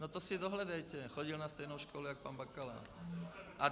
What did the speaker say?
No to si dohledejte, chodil na stejnou školu jako pan Bakala.